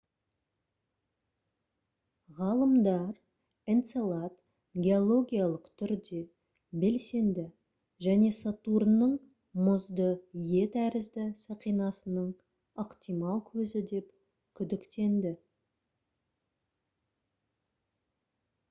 ғалымдар энцелад геологиялық түрде белсенді және сатурнның мұзды е тәрізді сақинасының ықтимал көзі деп күдіктенді